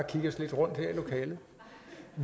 det